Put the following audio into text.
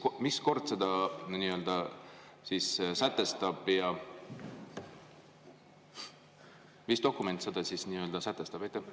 Ja mis kord seda nii-öelda sätestab, mis dokument seda sätestab?